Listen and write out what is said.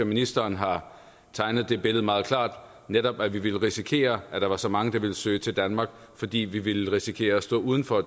ministeren har tegnet det billede meget klart netop at vi ville risikere at der var så mange der ville søge til danmark fordi vi ville risikere at stå uden for